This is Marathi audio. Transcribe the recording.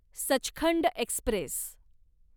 सचखंड एक्स्प्रेस